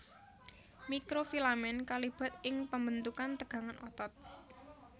Mikrofilamen kalibat ing pambentukan tegangan otot